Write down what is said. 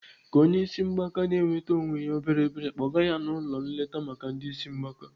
Ka onye isi mgbaka na-enwete onwe ya obere obere kpọga ya ụlọ nleta maka ndị isi mgbaka.